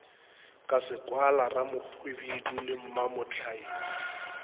ka sekwala ramohwibidu le mamohlaume